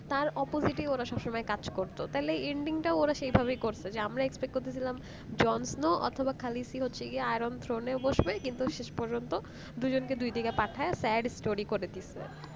তার opposite সব সময় কাজ করতো তাহলে ending টাও ওরা সেই ভাবে করত যে আমরা expect করতে ছিলাম jon snow অথবা khaleesi হচ্ছে যে iron throne এর কিন্তু শেষ পযন্ত দুজনকে দুই দিকে পাঠায় sad করে দিয়েছে